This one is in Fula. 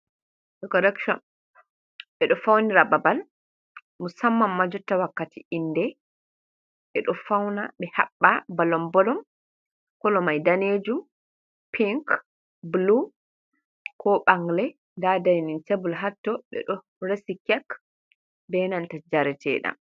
Dekorekshon, ɓe ɗo faunira babal, musamman ma jotta wakkati inde, ɓeɗo fauna ɓe haɓɓa bolonbolon, kolo mai danejuum, pink, bulu, ko ɓangle nda dainin tebul hatto ɓe ɗo resi kek, benanta jareteɗam.